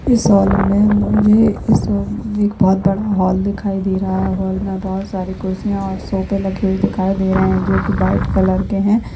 इस हॉल में मुझे इस एक बहुत बड़ा हॉल दिखाई दे रहा है। हॉल में बहुत सारे कुर्सिया और सोफ़े लेगे हुए दिखाई दे रहे है जो की व्हाइट कलर के है।